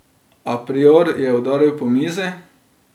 A prior je udaril po mizi.